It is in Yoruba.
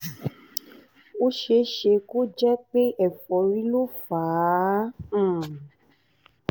ó ṣe é ṣe kó jẹ́ pé ẹ̀fọ́rí ló fà á